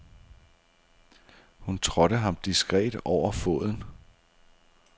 Hun trådte ham diskret over foden.